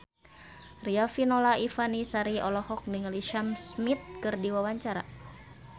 Riafinola Ifani Sari olohok ningali Sam Smith keur diwawancara